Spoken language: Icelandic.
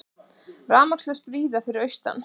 Rafmagnslaust víða fyrir austan